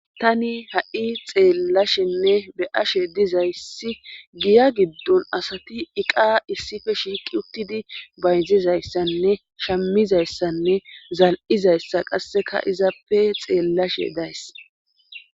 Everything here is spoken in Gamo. tani ha7i xeellashenne be ashe dizayssi giya giddon asati iqa issife shiiqi uttidi bayzizayssanne shamizayssanne zal7izayssa qasseka izappe xeellashe days